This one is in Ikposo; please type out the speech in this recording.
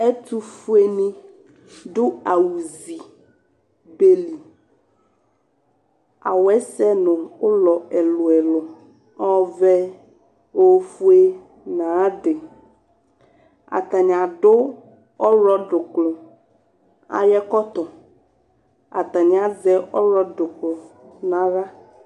Ɛtʋfuenɩ dʋ awʋfue zi be li Awʋ yɛ sɛ nʋ ʋlɔ ɛlʋ-ɛlʋ: ɔvɛ, ofue nʋ ayʋ adɩ Atanɩ adʋ ɔɣlɔdʋklʋ ayʋ ɛkɔtɔ Atanɩ azɛ ɔɣlɔdʋklʋ nʋ aɣla